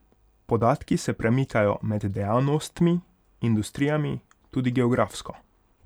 Podatki se premikajo med dejavnostmi, industrijami, tudi geografsko.